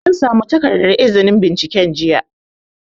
An samu takardar izinin binciken jiya